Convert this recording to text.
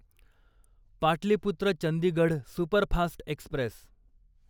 Pataliputra Chandigarh superfast Express